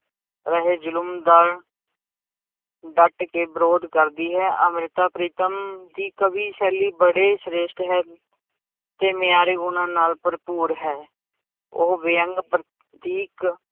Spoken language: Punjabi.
ਰਹੇ ਜ਼ੁਲਮ ਦਾ ਡੱਟ ਕੇ ਵਿਰੋਧ ਕਰਦੀ ਹੈ, ਅੰਮ੍ਰਿਤਾ ਪ੍ਰੀਤਮ ਦੀ ਕਵੀ ਸ਼ੈਲੀ ਬੜੇ ਸ੍ਰੇਸ਼ਟ ਹੈ ਤੇ ਮਿਆਰੀ ਗੁਣਾਂ ਨਾਲ ਭਰਪੂਰ ਹੈ, ਉਹ ਵਿਅੰਗ ਪ੍ਰਤੀਕ